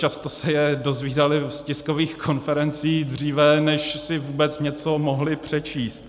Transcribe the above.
Často se je dozvídali z tiskových konferencí dříve, než si vůbec něco mohli přečíst.